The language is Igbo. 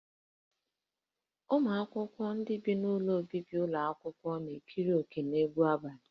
Ụmụ akwụkwọ ndị bi n'ụlọ obibi ụlọ akwụkwọ na-ekere òkè n'egwu abalị